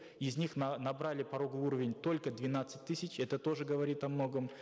из них набрали пороговый уровень только двенадцать тысяч это тоже говорит о многом